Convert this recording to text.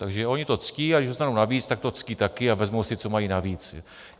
Takže oni to ctí, a když dostanou navíc, tak to ctí taky a vezmou si, co mají navíc.